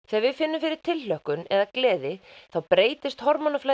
þegar við finnum fyrir tilhlökkun eða gleði þá breytist